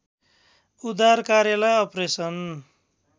उद्दार कार्यलाई अपरेसन